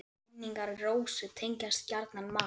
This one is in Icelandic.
Minn- ingar Rósu tengjast gjarnan mat.